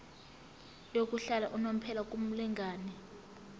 yokuhlala unomphela kumlingani